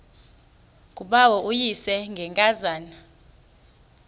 ngubawo uvuyisile ngenkazana